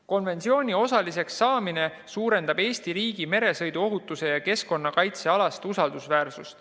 Konventsiooni osaliseks saamine suurendab Eesti riigi usaldusväärsust meresõiduohutuse ja keskkonnakaitse alal.